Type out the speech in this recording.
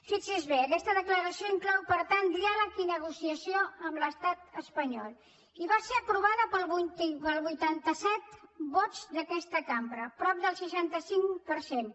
fixi s’hi bé aquesta declaració inclou per tant diàleg i negociació amb l’estat espanyol i va ser aprovada per vuitanta set vots d’aquesta cambra prop del seixanta cinc per cent